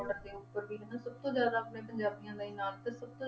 Border ਦੇ ਉੱਪਰ ਵੀ ਹਨਾ ਸਭ ਤੋਂ ਜ਼ਿਆਦਾ ਆਪਣੇ ਪੰਜਾਬੀਆਂ ਦਾ ਹੀ ਨਾਂ ਤਾਂ ਸਭ ਤੋਂ